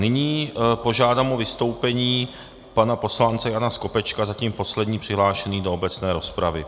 Nyní požádám o vystoupení pana poslance Jana Skopečka - zatím poslední přihlášený do obecné rozpravy.